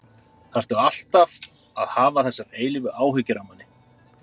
ÞARFTU ALLTAF AÐ HAFA ÞESSAR EILÍFU ÁHYGGJUR AF MANNI.